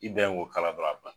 I dan ye k'o kala dɔrɔn a ban